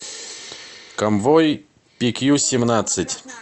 конвой пи кью семнадцать